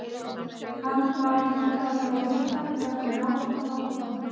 Hann varð líka að fá að vita hvernig málum var komið.